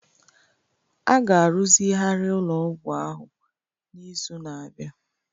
A ga-arụzigharị ụlọ ọgwụ ahụ n'izu na-abịa.